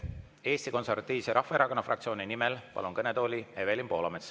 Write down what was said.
Eesti Konservatiivse Rahvaerakonna fraktsiooni nimel palun kõnetooli Evelin Poolametsa.